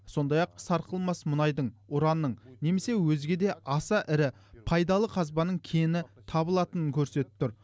сондай ақ сарқылмас мұнайдың уранның немесе өзге де аса ірі пайдалы қазбаның кені табылатынын көрсетіп тұр